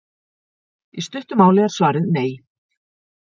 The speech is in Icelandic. í stuttu máli er svarið nei